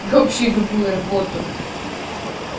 да вообще любую работу